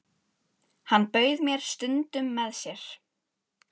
Ég hef ekki neinn EKKI besti íþróttafréttamaðurinn?